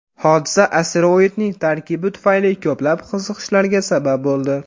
Hodisa asteroidning tarkibi tufayli ko‘plab qiziqishlarga sabab bo‘ldi.